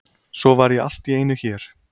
Svo var ég allt í einu hér.